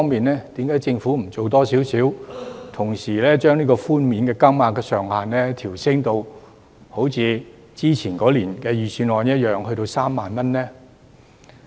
因此，政府為何不多做一點，把寬免金額上限同時調升至例如去年預算案中的3萬元呢？